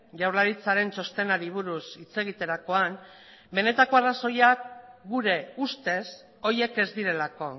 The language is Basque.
jaurlaritzaren txostenari buruz hitz egiterakoan benetako arrazoiak gure ustez horiek ez direlako